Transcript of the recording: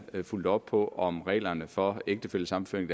fulgt op på om reglerne for ægtefællesammenføring